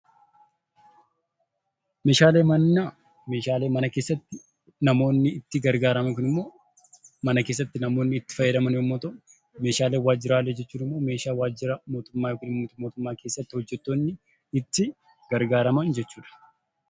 Meeshaaleen manaa meeshaalee mana keessatti itti gargaaramnu mana keessatti namoonni itti gargaaraman yoo ta'u, meeshaaleen waajjiraa kan waajjira keessatti itti gargaaraman jechuudha.